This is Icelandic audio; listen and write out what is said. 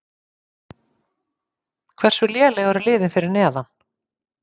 Hversu léleg eru liðin fyrir neðan?